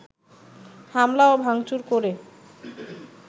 হামলা ও ভাংচুর করে